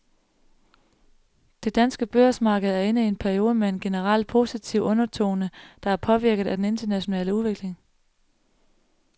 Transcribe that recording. Det danske børsmarked er inde i en periode med en generelt positiv undertone, der er påvirket af den internationale udvikling.